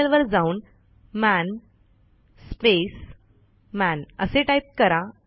terminal वर जाऊन man space man असे टाईप करा